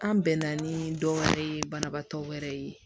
An bɛnna ni dɔ wɛrɛ ye banabaatɔ wɛrɛ ye